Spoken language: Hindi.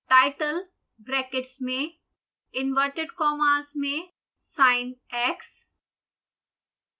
title ब्रैकेट्स में इंवर्टेड कॉमास में sinx